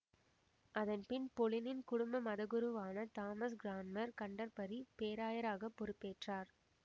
அதன் பின் பொலினின் குடும்ப மதகுருவான தாமஸ் கிரான்மர் கன்டர்பரி பேராயராக பொறுப்பேற்றார்